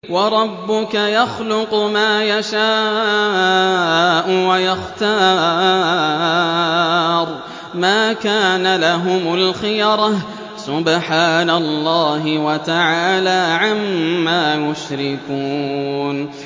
وَرَبُّكَ يَخْلُقُ مَا يَشَاءُ وَيَخْتَارُ ۗ مَا كَانَ لَهُمُ الْخِيَرَةُ ۚ سُبْحَانَ اللَّهِ وَتَعَالَىٰ عَمَّا يُشْرِكُونَ